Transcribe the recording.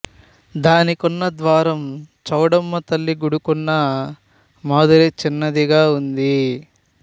దానికున్న ద్వారం చౌడమ్మ తల్లి గుడికున్న మాదిరే చిన్నదిగా ఉంది